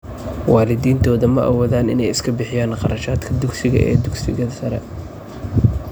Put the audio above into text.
Waalidiintooda ma awoodaan inay iska bixiyaan kharashka dugsiga ee dugsiga sare.